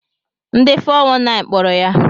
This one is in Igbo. Ndi 419 kpọrọ ya.